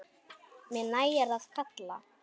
Mér nægir að kalla.